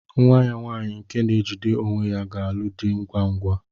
Nwa ya nwaanyị nke na-ejide onwe ya ga-alụ di ngwa ngwa.